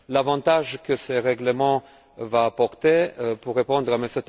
L'avantage que ce règlement apportera, pour répondre à M.